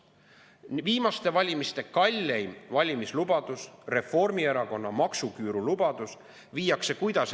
Kuidas viiakse ellu viimaste valimiste kalleim valimislubadus, Reformierakonna maksuküüru puudutav lubadus?